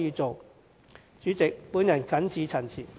代理主席，我謹此陳辭。